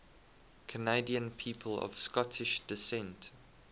canadian people of scottish descent